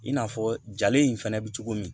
I n'a fɔ jalen in fɛnɛ bɛ cogo min